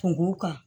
Kungo kan